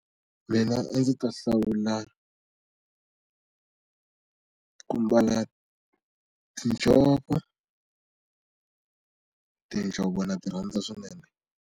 Mina a ndzi ta hlawula ku mbala tinjhovo tinjhovo na ti rhandza swinene.